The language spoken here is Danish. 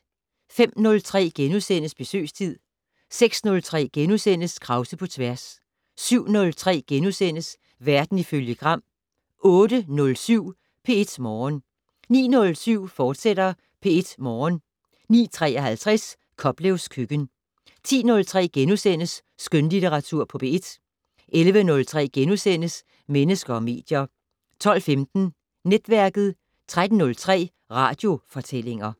05:03: Besøgstid * 06:03: Krause på tværs * 07:03: Verden ifølge Gram * 08:07: P1 Morgen 09:07: P1 Morgen, fortsat 09:53: Koplevs køkken 10:03: Skønlitteratur på P1 * 11:03: Mennesker og medier * 12:15: Netværket 13:03: Radiofortællinger